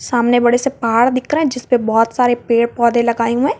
सामने बड़े से पहाड़ दिख रहे जिस पे बहोत सारे पेड़ पौधे लगाए हुए--